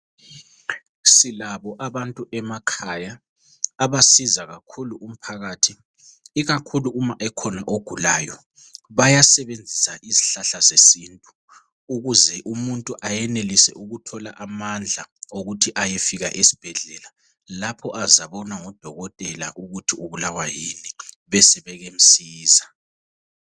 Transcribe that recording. Silabo abantu emakhaya abasiza kakhulu umphakathi ikakhulu uma ekhona ogulayo bayasebenzisa izihlahla zesintu ukuze umuntu ayenelise ukuthola amandla okuthi ayefika esibhedlela lapho azabonwa ngudokotela ukuthi ubulawa yini besebemsiza.